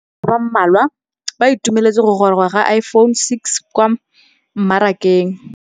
Bareki ba ba malwa ba ituemeletse go gôrôga ga Iphone6 kwa mmarakeng.